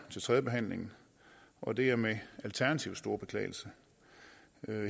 tredjebehandlingen og det er med alternativets store beklagelse